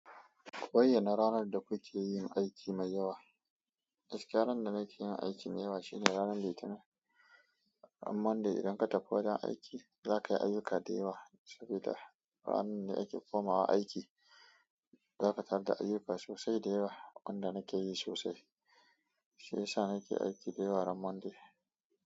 Koyi na ranar da kuke yin aiki mai yawa. Gaskiya ran da nake yin aiki mai yawa shine ranar Litinin, ran Monday idan ka tafi wajen aiki za kayi ayuka da yawa sabida, ranan ne ake komawa aiki. Za ka tarar da ayyuka sosai da yawa, wanda nake yi sosai. Shi ya sa ake aiki dayawa ran monday.